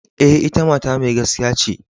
E,ita mata mai gaskiya ce.